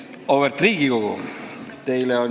Auväärt Riigikogu!